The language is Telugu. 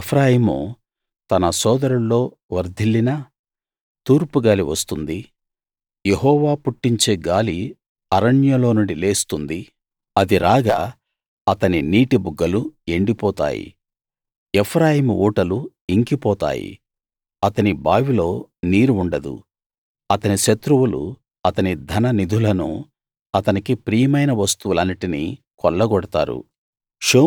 ఎఫ్రాయిము తన సోదరుల్లో వర్థిల్లినా తూర్పు గాలి వస్తుంది యెహోవా పుట్టించే గాలి అరణ్యంలో నుండి లేస్తుంది అది రాగా అతని నీటిబుగ్గలు ఎండి పోతాయి ఎఫ్రాయిము ఊటలు ఇంకిపోతాయి అతని బావిలో నీరు ఉండదు అతని శత్రువులు అతని ధననిధులను అతనికి ప్రియమైన వస్తువులన్నిటిని కొల్లగొడతారు